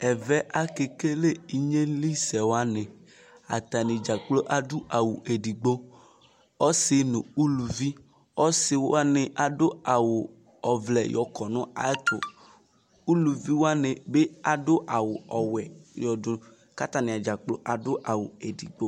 Ɛvɛ akekele ɩɣnelɩsɛwanɩ Atanɩ dzakplo adʊ awʊ edigbo Ɔsi nʊ ʊlʊviɔsi wanɩ adʊ awʊ ɔvlɛ yɔkɔ nayɛtʊ Ʊlʊvɩ wanɩbɩ adʊ awʊ ɔwɛ katanɩ dzakplo adʊ awʊ edigbo